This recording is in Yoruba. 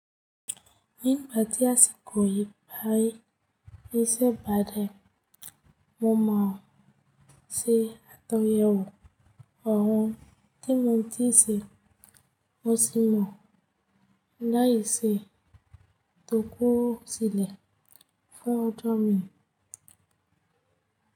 Ní ìgbà tí asìkòyí bayìí iṣẹ́ ba dẹ̀, mo mọ̀ ọ́n se àtunyẹwò ọ̀hún tí mo ń ti ṣe, mo sì mọ̀ láìṣe tó kú sílẹ̀ fún ọjọ́ mi.